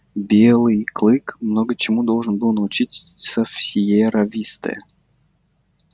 белый клык много чему должен был научиться в сиерра висте